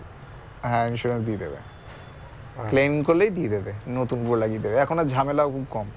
হ্যাঁ insurance দিয়ে দেবে claim করলেই দিয়ে দেবে নতুন লাগিয়ে দেবে এখন আর ঝামেলা খুব কম